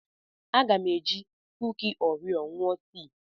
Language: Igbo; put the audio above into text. Aga m eji kuki Orio ṅụọ tii.